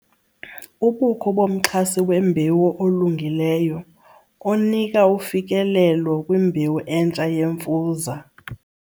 Ubukho bomxhasi wembewu olungileyo onika ufikelelo kwimbewu entsha yemfuza.